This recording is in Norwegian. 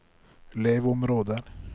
leveområder